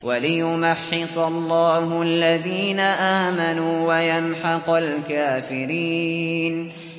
وَلِيُمَحِّصَ اللَّهُ الَّذِينَ آمَنُوا وَيَمْحَقَ الْكَافِرِينَ